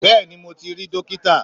Bẹ́ẹ̀ni mo ti rí dókítà